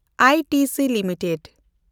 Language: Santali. I T C limited